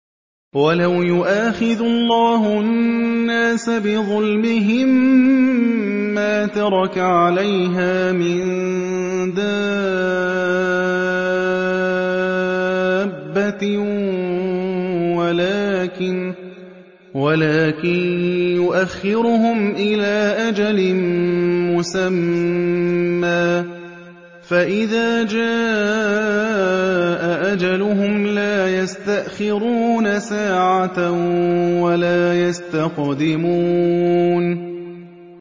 وَلَوْ يُؤَاخِذُ اللَّهُ النَّاسَ بِظُلْمِهِم مَّا تَرَكَ عَلَيْهَا مِن دَابَّةٍ وَلَٰكِن يُؤَخِّرُهُمْ إِلَىٰ أَجَلٍ مُّسَمًّى ۖ فَإِذَا جَاءَ أَجَلُهُمْ لَا يَسْتَأْخِرُونَ سَاعَةً ۖ وَلَا يَسْتَقْدِمُونَ